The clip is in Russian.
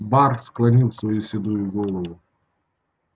бар склонил свою седую голову